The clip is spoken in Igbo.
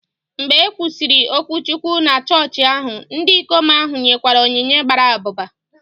Mgbe e kwusịrị okwuchukwu na chọọchị ahụ, ndị ikom ahụ nyekwara onyinye gbara abụba